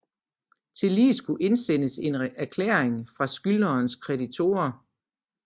Tillige skulle indsendes en erklæring fra skyldnerens kreditorer